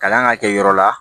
Kalan ka kɛ yɔrɔ la